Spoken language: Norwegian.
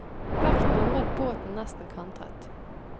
Vekten gjorde at båten nesten kantret.